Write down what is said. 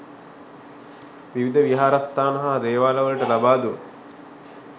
විවිධ විහාරස්ථාන හා දේවාලවලට ලබාදුන්